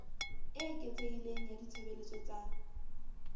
e eketsehileng ya ditshebeletso tsa